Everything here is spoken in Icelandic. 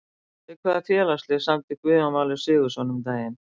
Við hvaða félagslið samdi Guðjón Valur Sigurðsson um daginn?